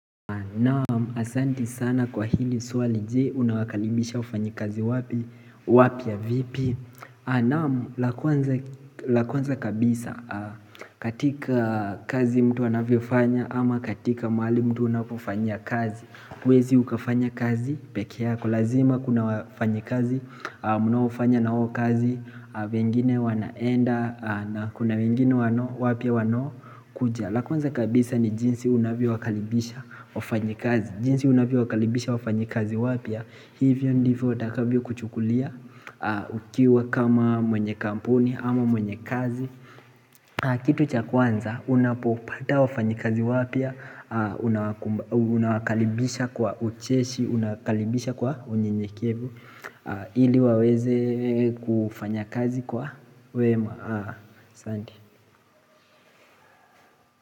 Naam, asanti sana kwa hili swali je, unawakalibisha wafanyi kazi wapi, wapya vipi Naam, la kwanza kabisa, katika kazi mtu anavyo fanya ama katika mahali mtu unapofanya kazi huwezi ukafanya kazi, peke yako, lazima kuna wafanyi kazi, mnaofanya nao kazi, wengine wanaenda, na kuna wengine wapya wano kuja la kwanza kabisa ni jinsi unavyo wakalibisha wafanyikazi jinsi unavyo wakalibisha wafanyekazi wapya Hivyo ndivyo watakavyo kuchukulia ukiwa kama mwenye kampuni ama mwenye kazi Kitu cha kwanza unapopata wafanyikazi wapya Unawakalibisha kwa ucheshi, unakalibisha kwa unye nye kevu ili waweze kufanya kazi kwa wema Sandi.